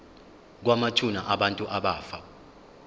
kwamathuna abantu abafa